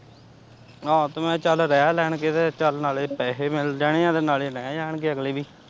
ਅਹ ਤੇ ਮੈਂ ਚੱਲ ਰਹਿ ਲੈਣਗੇ ਤੇ ਚੱਲ ਨਾਲੇ ਪੈਹੇ ਮਿਲ ਜਾਣੇ ਤੇ ਨਾਲੇ ਰਹਿ ਜਾਣਗੇ ਅਗਲੇ ਵੀ।